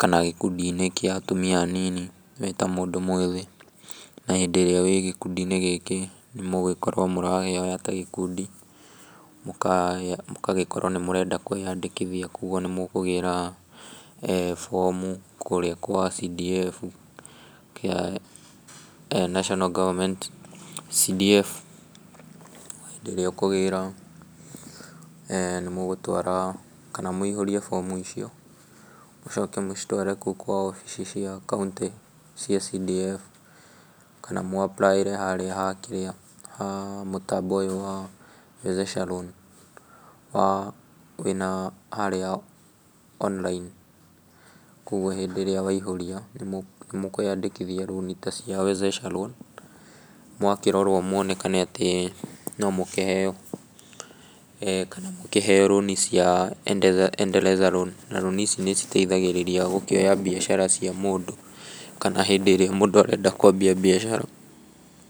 kana gĩkũndi-inĩ gĩa atumia anini, wĩtamũndũ mwĩthĩ, na hĩndĩ ĩrĩa wĩgĩkundi-inĩ gĩkĩ, nĩ mũgũkorwo mũrahoya tagĩkundi, mũkagĩkorwo nĩmũrenda kwĩyandĩkithia, koguo nĩmũkũgĩra bomu kũrĩa kwa CDF, kĩa National Government CDF , na hĩndĩ ĩrĩa ũkũgĩra, nĩmũgũtwara, kana mũihũrie bomu icio, mũcoke mũcitware kũu wabici, ici cia kaũntĩ, cia CDF, kana mũ apply ĩre harĩa hakĩrĩa, mũtambo ũyũ wa Wezesha Loan, wa kwĩna wĩna harĩa online, koguo hĩndĩ ĩrĩa waihũria, nĩ mũkwĩyandĩkithia loan tacia Wezesha Loan, mwakĩrorwo mwonekane atĩ, nomũkĩheyo, kana mũkĩheyo loan cia Endeleza Loan, na loan ici nĩ citeithagĩrĩria gũkĩoya mbiacara cia mũndũ, kana hĩndĩ ĩrĩa mũndũ arenda kwambia mbiacara.